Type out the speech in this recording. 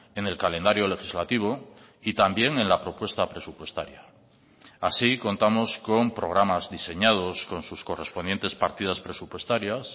en el calendario legislativo y también en la propuesta presupuestaria así contamos con programas diseñados con sus correspondientes partidas presupuestarias